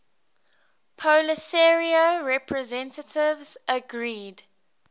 polisario representatives agreed